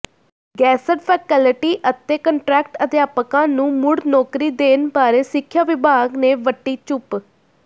guest faculty ਅਤੇ contract ਅਧਿਆਪਕਾਂ ਨੂੰ ਮੁੜ ਨੌਕਰੀ ਦੇਣ ਬਾਰੇ ਸਿੱਖਿਆ ਵਿਭਾਗ ਨੇ ਵੱਟੀ ਚੁੱਪ